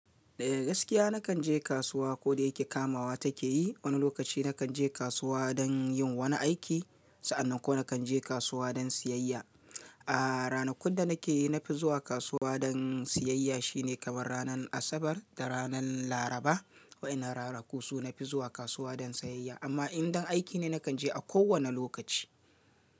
Eh gaskiya na kan je kasuwa ko da yake kamawa take yi. Wani lokaci na kan je kasuwa don yin wani aiki, sa'annan ko na kan je kasuwa don siyayya. A ranakun da na ke, na fi zuwa kasuwa don siyayya shine kamar ranar Asabar da ranar Laraba. Wa'inan ranaku su na fi zuwa kasuwa don siyayya. Amma in dan aiki ne, na kan je a kowane lokaci.